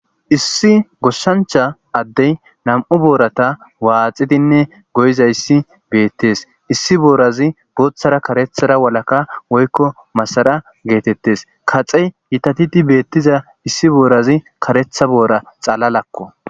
Issi gooshshancha addey nam'u boorata waaxidinne goyizayssi beettes issi boorazi booththara karethara walaka woykko masara geetettes kace gitatidi beettiza issi boorazi karetha boora xalalakko